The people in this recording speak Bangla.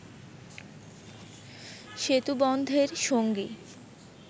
সেতুবন্ধের সঙ্গী